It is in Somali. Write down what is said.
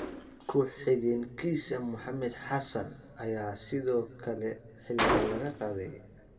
Ku xigeenkiisa Maxamed Xassan ayaa sidoo kale xilka laga qaaday.